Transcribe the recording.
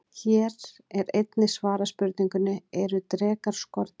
Hér er einnig svarað spurningunni: Eru drekar skordýr?